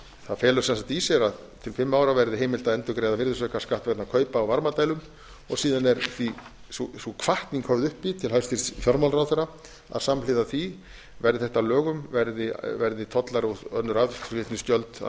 það felur sem sagt í sér að til fimm ára verði heimilt að endurgreiða virðisaukaskatt vegna kaupa á varmadælum og síðan er sú hvatning höfð uppi til hæstvirts fjármálaráðherra að samhliða því verði þetta að lögum verði tollar og önnur aðflutningsgjöld að